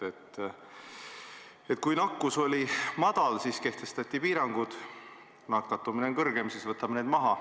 Kui nakatumine oli madal, siis kehtestasime piirangud, kui nakatumine on kõrgem, siis võtame need maha.